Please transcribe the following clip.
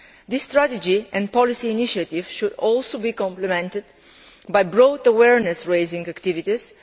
This strategy and policy initiative should also be complemented by broad awareness raising activities.